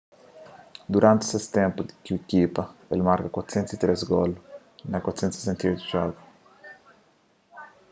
duranti se ténpu ku ikipa el marka 403 golu na 468 djogu